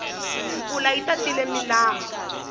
mpfula yi tatile milambu